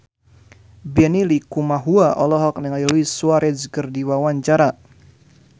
Benny Likumahua olohok ningali Luis Suarez keur diwawancara